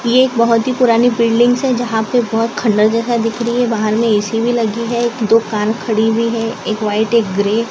ये बहोत ही पुरानी बिल्डिंग्स है जहां पे बहोत खंडहर जैसा दिख रही है बाहर में ए_सी भी लगी है दो कार खड़ी हुई है एक व्हाइट एक ग्रे ।